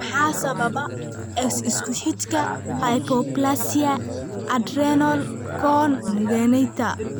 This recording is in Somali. Maxaa sababa X isku xidhka hypoplasia adrenal congenita?